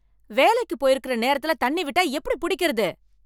வேலைக்கு போயிருக்கற நேரத்துல தண்ணி விட்டா எப்படி புடிக்கறது?